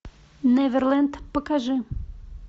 неверленд покажи